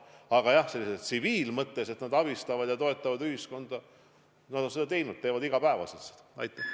Aga jah, tsiviilmõttes, et nad abistavad ja toetavad ühiskonda – nad on seda teinud, teevad seda iga päev.